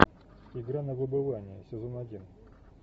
игра на выбывание сезон один